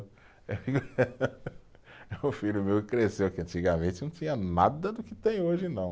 É um filho meu que cresceu, que antigamente não tinha nada do que tem hoje, não.